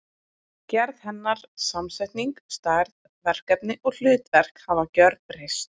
Gerð hennar, samsetning, stærð, verkefni og hlutverk hafa gjörbreyst.